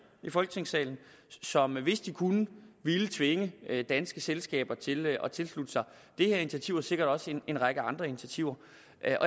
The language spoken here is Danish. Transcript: i folketingssalen som hvis de kunne ville tvinge danske selskaber til at tilslutte sig det her initiativ og sikkert også en række andre initiativer